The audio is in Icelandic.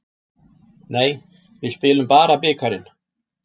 Nei, við spilum bara bikarinn.